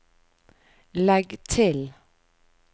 legg til